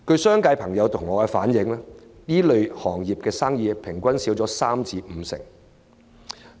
商界朋友向我反映，上述行業的生意平均減少三成至五成。